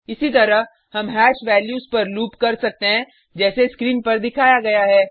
इसी तरह हम हैश वैल्यूज़ पर लूप कर सकते हैं जैसे स्क्रीन पर दिखाया गया है